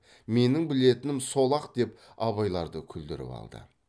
менің білетінім сол ақ деп абайларды күлдіріп алды